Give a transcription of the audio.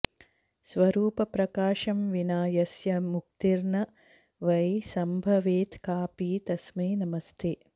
स्वरूपप्रकाशं विना यस्य मुक्तिर्न वै सम्भवेत्कापि तस्मै नमस्ते